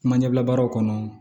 Kuma ɲɛbila baaraw kɔnɔ